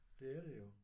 Det er det jo